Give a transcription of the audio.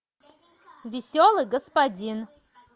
веселый господин